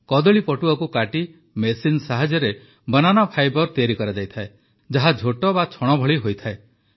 କଦଳୀପଟୁଆକୁ କାଟି ମେସିନ ସାହାଯ୍ୟରେ banana fibre ତିଆରି କରାଯାଏ ଯାହା ଝୋଟ ବା ଛଣ ଭଳି ହୋଇଥାଏ